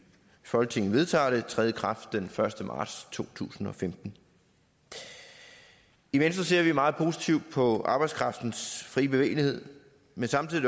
folketinget vedtager det træde i kraft den første marts to tusind og femten i venstre ser vi meget positivt på arbejdskraftens fri bevægelighed men samtidig